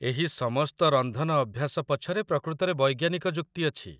ଏହି ସମସ୍ତ ରନ୍ଧନ ଅଭ୍ୟାସ ପଛରେ ପ୍ରକୃତରେ ବୈଜ୍ଞାନିକ ଯୁକ୍ତି ଅଛି।